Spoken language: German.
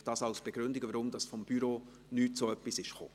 Dies als Begründung, weshalb vonseiten des Büros nichts dergleichen kam.